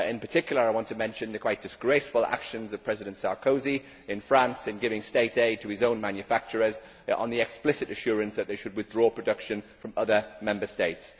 In particular I want to mention the quite disgraceful actions of President Sarkozy in France in giving state aid to his own manufacturers on the explicit assurance that they should withdraw production from other Member States.